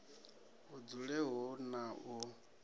hu dzule hu na u